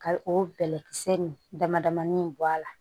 Ka o bɛlɛkisɛ nin dama damani bɔ a la